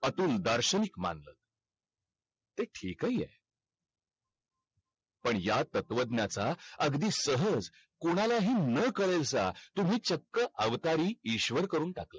अतुल दार्शनिक मानला तेठीकहीहे पण ह्या तत्वज्ञा चा अगदी सहज कोणाला हि न कळेल असा तुम्ही चक अवतारी ईश्वर करून टाकला